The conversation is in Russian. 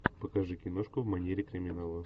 покажи киношку в манере криминала